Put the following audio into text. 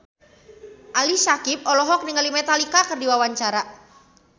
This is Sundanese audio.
Ali Syakieb olohok ningali Metallica keur diwawancara